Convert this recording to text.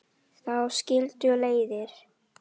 Þá skildu leiðir.